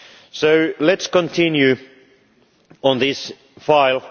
So let us continue on this file.